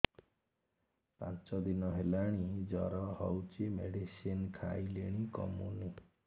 ପାଞ୍ଚ ଦିନ ହେଲାଣି ଜର ହଉଚି ମେଡିସିନ ଖାଇଲିଣି କମୁନି